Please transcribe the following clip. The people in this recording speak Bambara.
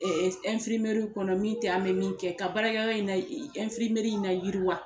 kɔnɔ min tɛ an bɛ min kɛ ka baarakɛyɔrɔ in na in na yiriwa.